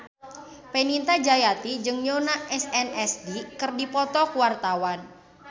Fenita Jayanti jeung Yoona SNSD keur dipoto ku wartawan